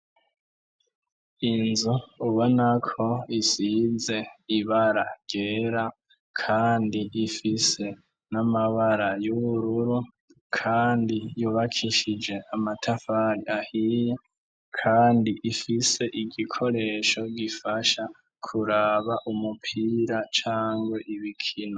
Inzu ubonako isize ibara ryera, kandi ifise n'amabara y'ubururu, kandi yubakishije amatafari ahiye, kandi ifise igikoresho gifasha kuraba umupira cangwa ibikino.